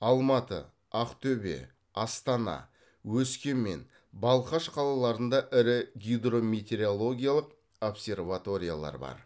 алматы ақтөбе астана өскемен балқаш қалаларында ірі гидрометеорологиялық обсерваториялар бар